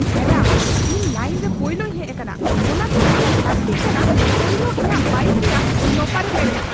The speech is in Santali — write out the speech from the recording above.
ᱢᱮᱰᱟᱢ, ᱤᱧ ᱞᱟᱭᱤᱱ ᱨᱮ ᱯᱳᱭᱞᱳᱧ ᱦᱮᱡᱽ ᱟᱠᱟᱱᱟ, ᱚᱱᱟᱛᱮ ᱩᱱᱤᱭᱟᱜ ᱞᱟᱹᱠᱛᱤ ᱠᱟᱱᱟ ᱯᱳᱭᱞᱳ ᱤᱧᱟᱹᱜ ᱵᱟᱭᱤᱠ ᱨᱮᱭᱟᱜ ᱴᱚᱭᱟᱨᱮ ᱯᱮᱨᱮᱪ ᱾